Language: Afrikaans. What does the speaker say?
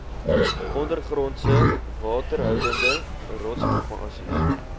ondergrondse waterhoudende rotsformasies